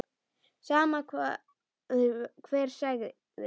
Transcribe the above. Sama hvað hver segði.